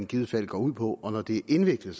givet fald går ud på når det er indviklet